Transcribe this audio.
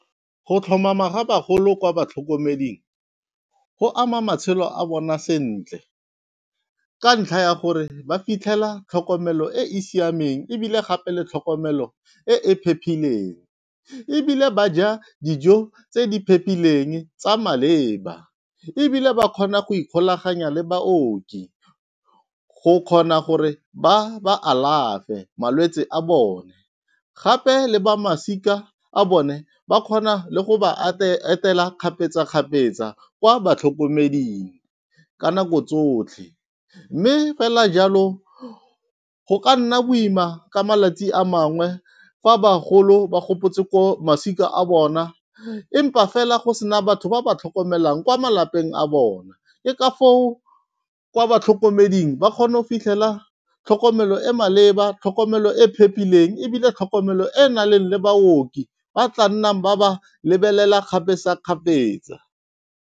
Go tlhomama ga bagolo kwa batlhokomeding go ama matshelo a bona sentle, ka ntlha ya gore ba fitlhela tlhokomelo e e siameng ebile gape le tlhokomelo e e phepileng. Ebile ba ja dijo tse di phepileng tsa maleba, ebile ba kgona go ikgolaganya le baoki go kgona gore ba ba alafe malwetse a bone. Gape le ba masika a bone ba kgona le go ba etela kgapetsa-kgapetsa kwa batlhokomeding ka nako tsotlhe. Mme fela jalo go ka nna boima ka malatsi a mangwe fa bagolo ba gopotse ko masika a bona, empa fela go sena batho ba ba tlhokomelang kwa malapeng a bona. Ke ka foo kwa batlhokomeding ba kgona go fitlhela tlhokomelo e e maleba, tlhokomelo e e phepileng, ebile tlhokomelo e e nang le baoki ba tla nnang ba ba lebelela kgapetsa-kgapetsa.